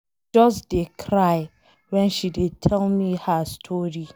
I just dey cry wen she dey tell me her story